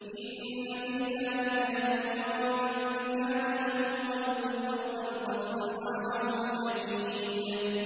إِنَّ فِي ذَٰلِكَ لَذِكْرَىٰ لِمَن كَانَ لَهُ قَلْبٌ أَوْ أَلْقَى السَّمْعَ وَهُوَ شَهِيدٌ